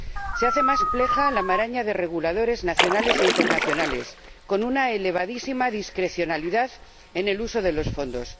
Se hace más compleja la maraña de reguladores nacionales e internacionales, con una elevadísima discrecionalidad en el uso de los fondos